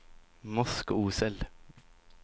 Moskosel